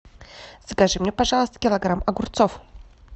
закажи мне пожалуйста килограмм огурцов